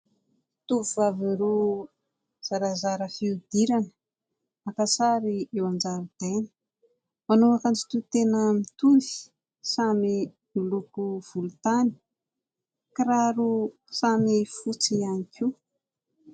Tovovavy roa zarazara fihodirana naka sary eo an-jaridaina. Manao akanjo toy tena mitovy samy miloko volotany, kiraro samy fotsy ihany koa.